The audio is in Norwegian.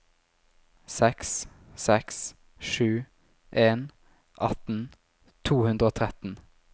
seks seks sju en atten to hundre og tretten